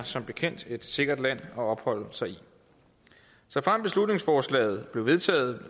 som bekendt er et sikkert land at opholde sig i såfremt beslutningsforslaget blev vedtaget